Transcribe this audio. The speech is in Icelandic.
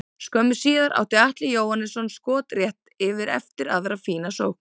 Skömmu síðar átti Atli Jóhannsson skot rétt yfir eftir aðra fína sókn.